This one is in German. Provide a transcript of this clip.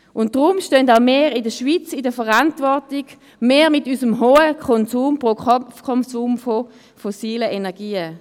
Deshalb stehen auch wir in der Schweiz in der Verantwortung, wir mit unserem hohen Pro-Kopf-Konsum von fossilen Energien.